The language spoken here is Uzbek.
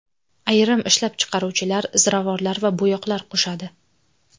Ayrim ishlab chiqaruvchilar ziravorlar va bo‘yoqlar qo‘shadi.